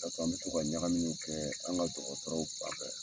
Karis, an bɛ tɔ ka ɲagaminiw kɛ dɔgɔtɔrɔw fan fɛ